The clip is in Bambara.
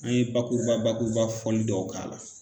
An ye bakuruba bakuruba fɔli dɔw k'a la